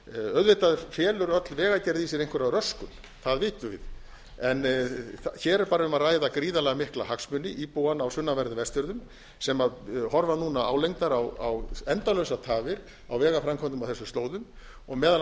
auðvitað felur öll vegagerð í sér einhverja röskun það vitum við en hér er bara um að ræða gríðarlega mikla hagsmuni íbúanna á sunnanverðum vestfjörðum sem horfa núna álengdar á endalausar tafir á vegaframkvæmdum á þessum slóðum og meðal